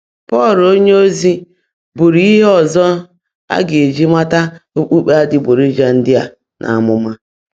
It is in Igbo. Pọ́l ónyéozi búrú íhe ọ́zọ́ á gá-èjí mátá ókpukpé ádị́gbọ́rọ̀já ndị́ á n’ámụ́má.